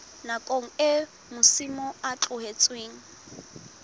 nakong eo masimo a tlohetsweng